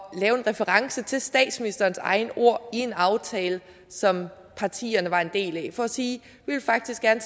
lave en reference til statsministerens egne ord i en aftale som partierne var en del af for at sige at vi faktisk gerne